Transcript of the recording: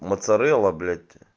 моцарелла блять